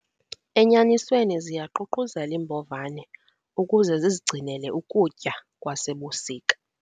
Enyanisweni ziyaququzela iimbovane ukuze zizigcinele ukutya kwasebusika.